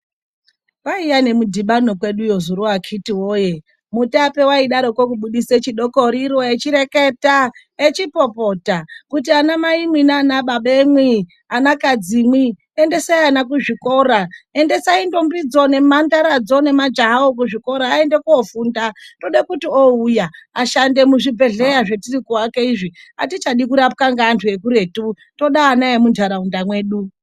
Paiya nemudhibano kweduyo akhiti woye. Mutape waidaro kubudise chidokoriro echireketa, echipopota kuti anamai naimwi nanababamwi, endesai ana kuzvikora. Endesai ndombidzo nemhandaradzo, nemajahawo kuchikora aende kofunda. Tode kuti ouya ashande muzvibhedhlera zvatiri kuaka izvi, atichadi kurapwa ngaantu ekuretu, toda ana emu ntaraunda medu.